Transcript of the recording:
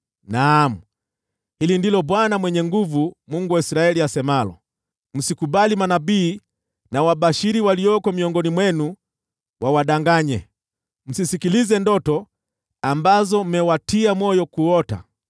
Naam, hili ndilo Bwana Mwenye Nguvu Zote, Mungu wa Israeli, asemalo: “Msikubali manabii na wabashiri walioko miongoni mwenu wawadanganye. Msisikilize ndoto ambazo mmewatia moyo kuota.